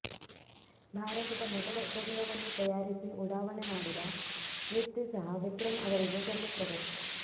ಭಾರತದ ಮೊದಲ ಉಪಗ್ರಹವನ್ನು ತಯಾರಿಸಿ ಉಡಾವಣೆ ಮಾಡಿದ ಕೀರ್ತಿ ಸಹ ವಿಕ್ರಂ ಅವರಿಗೆ ಸಲ್ಲುತ್ತದೆ